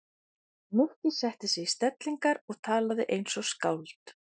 Nikki setti sig í stellingar og talaði eins og skáld.